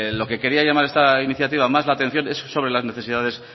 lo que quería llamar esta iniciativa más la atención es sobre las necesidades